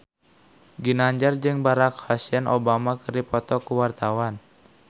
Ginanjar jeung Barack Hussein Obama keur dipoto ku wartawan